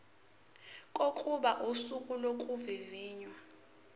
kokuba usuku lokuvivinywa